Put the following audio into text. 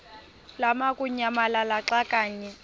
lamukunyamalala xa kanye